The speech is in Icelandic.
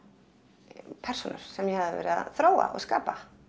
persónur sem ég hafði verið að þróa og skapa